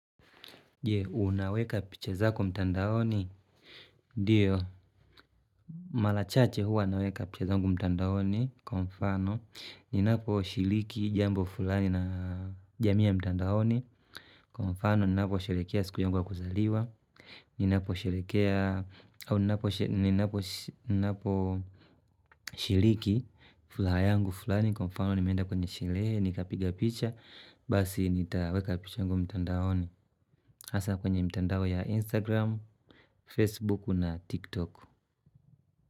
Je, unaweka picha zako mtandaoni? Ndyo, mara chache huwa naweka picha zangu mtandaoni, kwa mfano. Ninaposhiriki jambo fulani na jamii ya mtandaoni, kwa mfano ninapo sherehekea siku yangu ya kuzaliwa. Ninapo sherehekea, au ninapo shiriki furaha yangu fulani, kwa mfano nimeenda kwenye sherehe, nikapiga picha. Basi nitaweka picha yangu mtandaoni. Hasa kwenye mtandao ya Instagram, Facebook na TikTok.